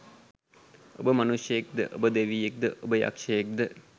ඔබ මනුෂ්‍යයෙක්ද ඔබ දෙවියෙක්ද ඔබ යක්ෂයෙක්ද?